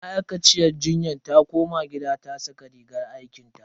Ma'aikaciyar jinyar ta koma gida ta saka rigar aikinta.